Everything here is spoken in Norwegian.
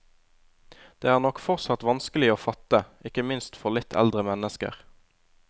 Det er nok fortsatt vanskelig å fatte, ikke minst for litt eldre mennesker.